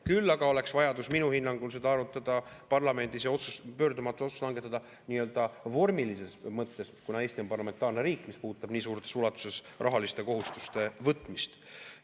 Küll aga oleks vajadus minu hinnangul seda arutada parlamendis ja pöördumatu otsus tuleks langetada vormilises mõttes siin, kuna see puudutab nii suures ulatuses rahaliste kohustuste võtmist ja Eesti on parlamentaarne riik.